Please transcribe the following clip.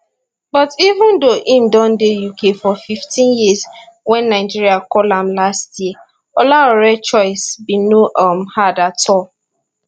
but even though im don dey uk for 15 years wen nigeria call am last year olaore choice bin no um hard at all